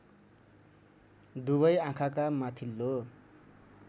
दुबै आँखाका माथिल्लो